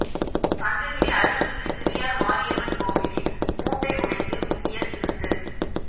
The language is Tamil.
சங்ககிரி அருள்மிகு சிவியார் மாரியம்மன் கோவிலின் பூட்டை உடைத்து உண்டியல் திருட்டு